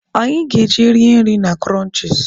Anyị ga-eje rie nri na Kụrọnchis.